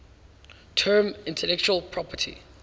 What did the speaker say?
term intellectual property